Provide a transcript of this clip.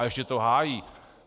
A ještě to hájí.